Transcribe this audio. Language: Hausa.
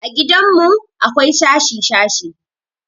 A gidanmu akwai shashi-shashi.